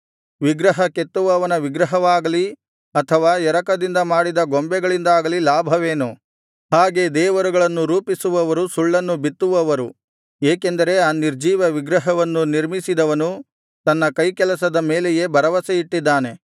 ವಿಗ್ರಹ ಕೆತ್ತುವವನ ವಿಗ್ರಹವಾಗಲಿ ಅಥವಾ ಎರಕದಿಂದ ಮಾಡಿದ ಗೊಂಬೆಗಳಿಂದಾಗಲಿ ಲಾಭವೇನು ಹಾಗೆ ದೇವರುಗಳನ್ನು ರೂಪಿಸುವವರು ಸುಳ್ಳನ್ನು ಬಿತ್ತುವವರು ಏಕೆಂದರೆ ಆ ನಿರ್ಜೀವ ವಿಗ್ರಹವನ್ನು ನಿರ್ಮಿಸಿದವನು ತನ್ನ ಕೈಕೆಲಸದ ಮೇಲೆಯೇ ಭರವಸೆ ಇಟ್ಟಿದ್ದಾನೆ